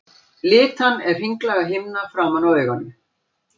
Litan er hringlaga himna framan á auganu.